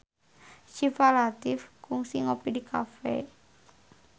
Syifa Latief kungsi ngopi di cafe